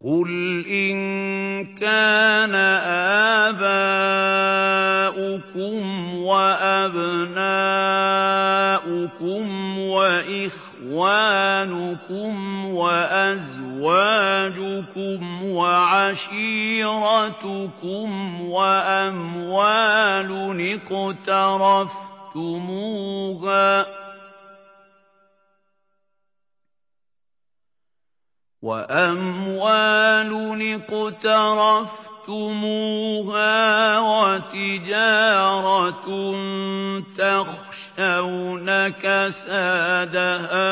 قُلْ إِن كَانَ آبَاؤُكُمْ وَأَبْنَاؤُكُمْ وَإِخْوَانُكُمْ وَأَزْوَاجُكُمْ وَعَشِيرَتُكُمْ وَأَمْوَالٌ اقْتَرَفْتُمُوهَا وَتِجَارَةٌ تَخْشَوْنَ كَسَادَهَا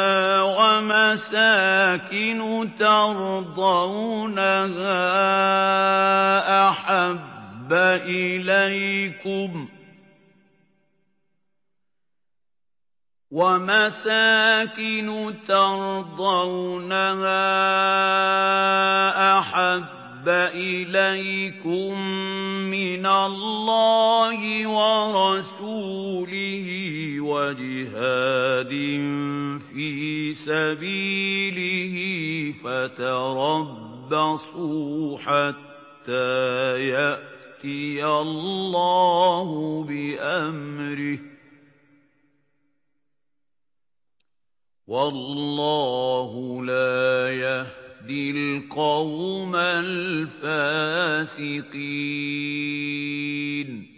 وَمَسَاكِنُ تَرْضَوْنَهَا أَحَبَّ إِلَيْكُم مِّنَ اللَّهِ وَرَسُولِهِ وَجِهَادٍ فِي سَبِيلِهِ فَتَرَبَّصُوا حَتَّىٰ يَأْتِيَ اللَّهُ بِأَمْرِهِ ۗ وَاللَّهُ لَا يَهْدِي الْقَوْمَ الْفَاسِقِينَ